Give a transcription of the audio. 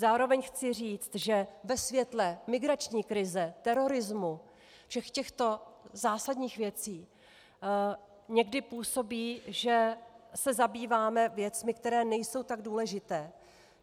Zároveň chci říct, že ve světle migrační krize, terorismu, všech těchto zásadních věcí někdy působí, že se zabýváme věcmi, které nejsou tak důležité.